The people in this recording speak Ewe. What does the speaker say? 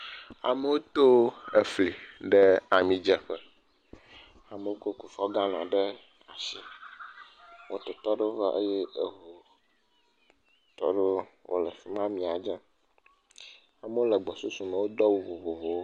Amewo to efli ɖe amidzeƒe, amewo kɔ Kufuɔ galɔn ɖe asi, mototɔ aɖewo va eye eŋutɔ aɖewo le afi ma le amia dzem, amewo le gbɔsusu me wodo awu vovovowo.